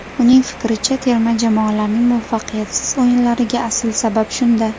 Uning fikricha, terma jamoalarning muvaffaqiyatsiz o‘yinlariga asl sabab shunda.